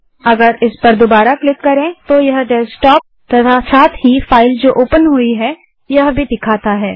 यदि हम इस पर फिर से क्लिक करें तो यह डेस्कटॉप तथा साथ ही फाइल जो ओपन हुई है वह भी दिखाता है